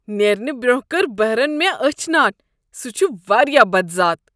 نیرنہٕ برۄنہہ کٔر بہرن مےٚ أچھ ناٹ۔ سہ چھ واریاہ بدذات۔